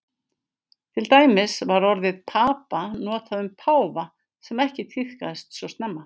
til dæmis var orðið papa notað um páfa sem ekki tíðkaðist svo snemma